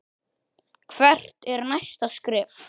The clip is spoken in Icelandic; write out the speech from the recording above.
Hvert er næsta skref?